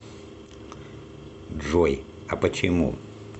джой а почему